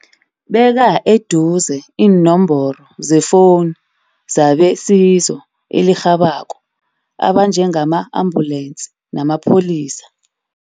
Beka eduze iinomboro zefoni zabesizo elirhabako abanjengama ambulensi namapholisa.